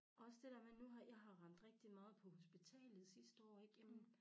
Også det dér med nu har jeg har rendt rigtig meget på hospitalet sidste år ikke jammen